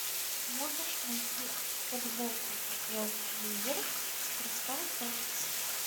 можешь найти футбол апл ливер с кристал пэлас